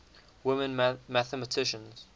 women mathematicians